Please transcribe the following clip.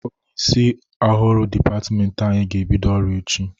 Onyeisi ọhụrụ dịpatmenti anyị ga-ebido ọrụ echi.